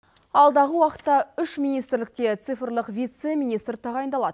алдағы уақытта үш министрлікте цифрлік вице министр тағайындалады